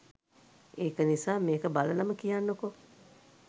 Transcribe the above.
ඒක නිසා මේක බලලම කියන්නකෝ